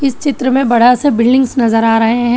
इस चित्र में बड़ा सा बिल्डिंग्स नजर आ रहे हैं।